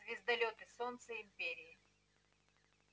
звездолёт и солнце империи